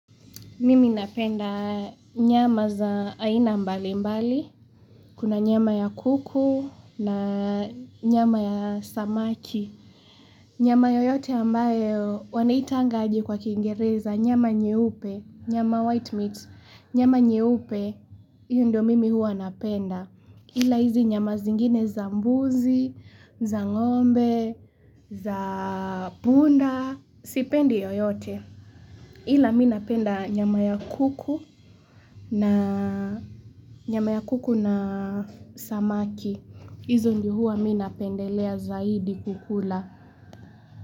Mimi napenda nyama za aina mbalimbali, kuna nyama ya kuku na nyama ya samaki. Nyama yoyote ambayo wanaitanga aje kwa kingereza nyama nyeupe, nyama white meat, nyama nyeupe, hiyo ndio mimi hua napenda. Ila hizi nyama zingine za mbuzi, za ng'ombe, za punda, sipendi yoyote. Ila ninapenda nyama ya kuku na samaki. Izo ndio huwa ninapendelea zaidi kukula.